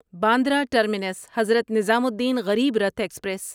Bandra terminus Hazrat Nizamuddin Garib Rath express